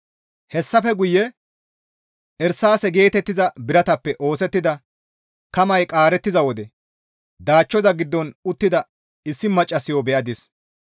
Hessafe guye irsaase geetettiza biratappe oosettida kamay qaarettiza wode daachchoza giddon uttida issi maccassayo be7adis.